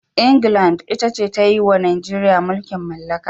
England ita ce ta yi wa Najeriya mulkin mallaka.